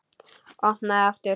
Opnaði aftur.